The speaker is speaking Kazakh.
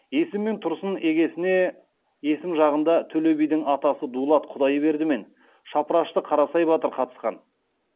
есім мен тұрсын егесіне есім жағында төле бидің атасы дулат құдайберді мен шапырашты қарасай батыр қатысқан